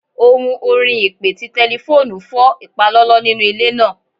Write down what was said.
Ohun orin ipe ti tẹlifoonu fọ ipalọlọ ninu ile naa